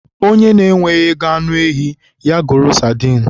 Onye enweghị ego anụ ehi, ya goro sadin